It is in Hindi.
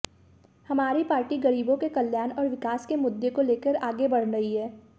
हमारी पार्टी गरीबों के कल्याण और विकास के मुद्दे को लेकर आगे बढ़ रही है